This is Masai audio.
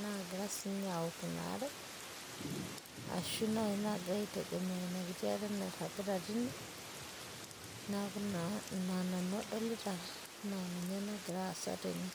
naagira sii inche aaok inare ashu naaagira sii nince aitegemea ina are. neeku ina nanu adolita egira aasa tene.